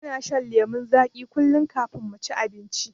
Muna shan lemon zagi kullun kafin muci abinci